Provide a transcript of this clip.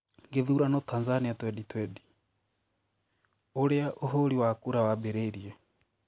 Githurano Tanzania 2020: ũria ũhũri wa kura waambiririe